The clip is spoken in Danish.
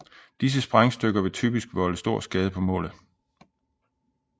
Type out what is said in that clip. Disse sprængstykker vil typisk volde stor skade på målet